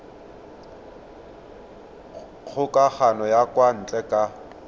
kgokagano ya kwa ntle ka